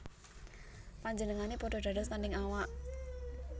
Panjenengané padha dados tandhing awak